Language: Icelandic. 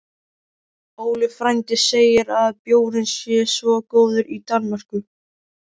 Óli frændi segir að bjórinn sé svo góður í Danmörku